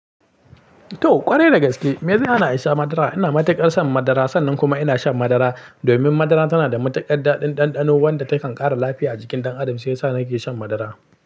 To ƙwarai da gaske, me zai hana a sha madara. Ina matuƙar son madara sannan kuma ina shan madara. Domin madara tana da matuƙar daɗin ɗanɗano wanda takan ƙara lafiya a jikin ɗan adam shi yasa nake shan madara.